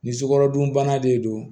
Nin sukarodunbana de don